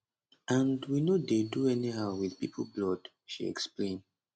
and we no dey do anyhow wit pipo blood she explain